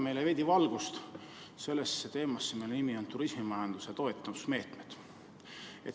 Tooge veidi valgust sellesse teemasse, mille nimi on turismimajanduse toetusmeetmed.